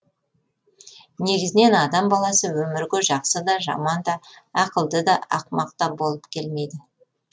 негізінен адам баласы өмірге жақсы да жаман да ақылды да ақымақ та болып келмейді